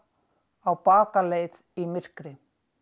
á bakaleið í myrkri